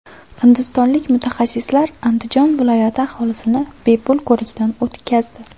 Hindistonlik mutaxassislar Andijon viloyati aholisini bepul ko‘rikdan o‘tkazdi.